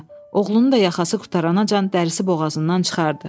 Oğlunu da yaxası qurtaranca dərisi boğazından çıxardı.